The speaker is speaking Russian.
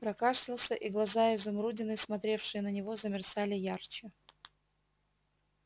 прокашлялся и глаза-изумрудины смотревшие на него замерцали ярче